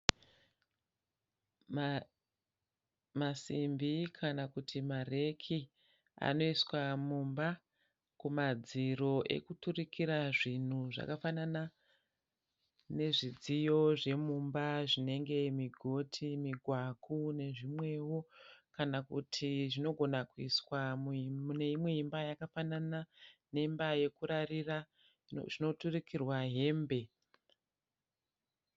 Masimbi kana kuti mareki anoiswa mumba kumadziro ekuturukira zvinhu zvakafanana nezvidziyo zvemumba zvinenge migoti, migwaku nezvimwewo, kan kuti zvinogona kuiswa mune imwe imba yekafanana neimba yekurarira zvinoturukirirwa hembe.